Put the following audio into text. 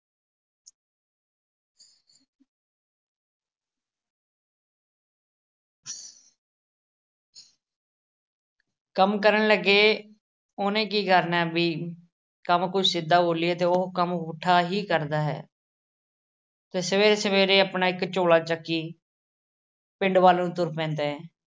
ਕੰਮ ਕਰਨ ਲੱਗੇ ਉਹਨੇ ਕੀ ਕਰਨਾ ਵੀ ਅਹ ਕੰਮ ਕੋਈ ਸਿੱਧਾ ਬੋਲੀਏ ਤੇ ਉਹ ਕੰਮ ਪੁੱਠਾ ਹੀ ਕਰਦਾ ਹੈ। ਤੇ ਸਵੇਰੇ-ਸਵੇਰੇ ਆਪਣਾ ਇੱਕ ਝੋਲਾ ਚੁੱਕੀ ਪਿੰਡ ਵੱਲ ਨੂੰ ਤੁਰ ਪੈਂਦਾ ਐ।